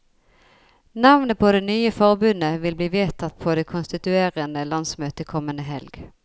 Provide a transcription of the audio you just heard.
Navnet på det nye forbundet vil bli vedtatt på det konstituerende landsmøtet kommende helg.